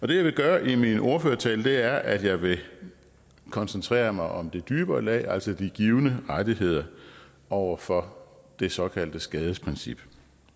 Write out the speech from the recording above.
det jeg vil gøre i min ordførertale er at jeg vil koncentrere mig om det dybere lag altså de givne rettigheder over for det såkaldte skadesprincip